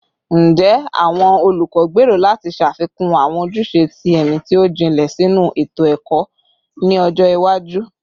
Njẹ awọn olukọ gbero lati ṣafikun awọn ojuse ti ẹmi ti o jinlẹ sinu eto-ẹkọ ni ọjọ iwaju?